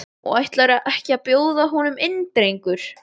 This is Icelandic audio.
Og ætlarðu ekki að bjóða honum inn drengur?